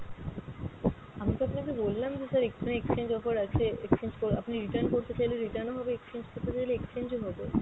আমি তো আপনাকে বললাম যে sir এক্ষুনি exchange offer আছে exchange করে, আপনি return করতে চাইলে return ও হবে, exchange করতে চাইলে exchange ও হবে।